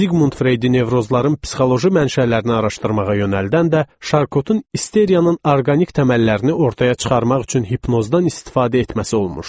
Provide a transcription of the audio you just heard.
Ziqmund Freydi nevrozların psixoloji mənşələrini araşdırmağa yönəldən də Şarkotun isteriyanın orqanik təməllərini ortaya çıxarmaq üçün hipnozdan istifadə etməsi olmuşdu.